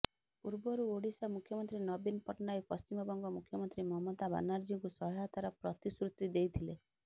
ପୂର୍ବରୁ ଓଡ଼ିଶା ମୁଖ୍ୟମନ୍ତ୍ରୀ ନବୀନ ପଟ୍ଟନାୟକ ପଶ୍ଚିମବଙ୍ଗ ମୁଖ୍ୟମନ୍ତ୍ରୀ ମମତା ବାନାର୍ଜୀଙ୍କୁ ସହାୟତାର ପ୍ରତିଶ୍ରୁତି ଦେଇଥିଲେ